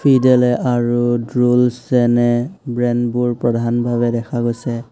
ফিডেলে আৰু ড্ৰলচ্ এনে ব্ৰেণ্ডবোৰ প্ৰধানভাৱে দেখা গৈছে।